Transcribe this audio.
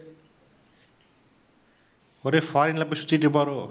ஒரே foreign ல போய் சுத்திட்டு இருப்பாரோ?